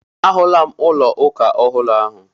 Ahụla m ụlọ ụka ọhụrụ ahụ.